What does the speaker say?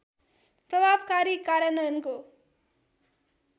प्रभावकारी कार्यान्वयनको